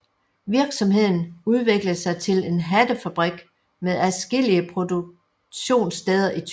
Virksomheden udviklede sig til en hattefabrik med adskillige produktionssteder i Tyskland